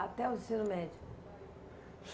Até o ensino médio?